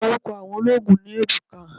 Oruko awon oloogun ni Ebuka